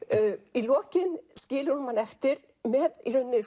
í lokin skilur hún mann eftir með